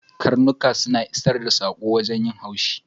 Ƙarnuka suna isar da sako wajen yin haushi.